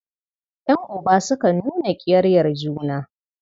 Ƴan'uba sukan nuna ƙiyayyar juna.